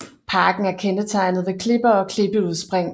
Parken er kendetegnet ved klipper og klippeudspring